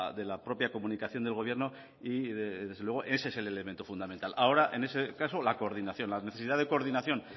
de la propia comunicación del gobierno y desde luego ese es el elemento fundamental ahora en ese caso la coordinación la necesidad de coordinación